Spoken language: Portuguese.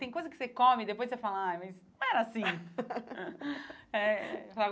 Tem coisa que você come e depois você fala, ai, mas não era assim. Eh